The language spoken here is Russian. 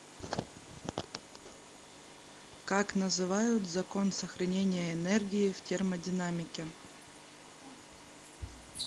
как называют закон сохранения энергии в термодинамике